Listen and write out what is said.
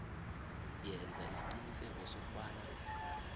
yenza isiqiniseko sokobana